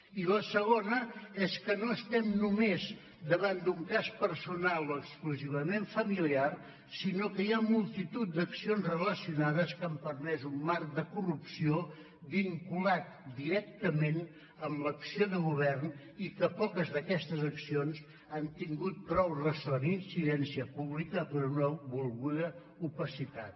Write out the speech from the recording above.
i la segona és que no estem només davant d’un cas personal o exclusivament familiar sinó que hi ha multitud d’accions relacionades que han permès un marc de corrupció vinculat directament amb l’acció de govern i que poques d’aquestes accions han tingut prou ressò ni incidència pública per una volguda opacitat